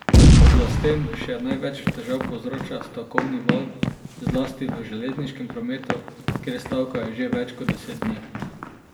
Oblastem še največ težav povzroča stavkovni val, zlasti v železniškem prometu, kjer stavkajo že več kot deset dni.